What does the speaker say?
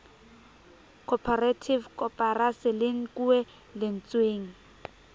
corperative koporasi le nkuwe lentsweng